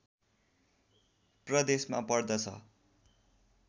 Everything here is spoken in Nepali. प्रदेशमा पर्दछ